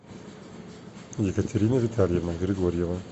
екатерина витальевна григорьева